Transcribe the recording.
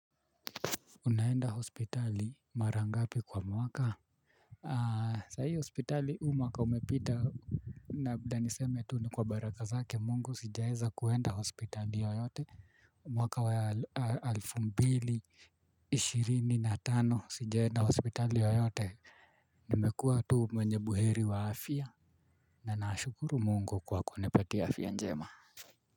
Unaenda hospitali mara ngapi kwa mwaka? Sahii hospitali huu mwaka umepita na niseme tu ni kwa baraka zake mungu sijaweza kwenda hospitali yoyote mwaka wa elfu mbili ishirini na tano sijaenda hospitali yoyote nimekua tu mwenye buheri wa afya na nashukuru mungu kwa kunipatia afya njema.